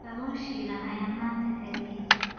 Kalluun shiilan ayaan maanta kariyey.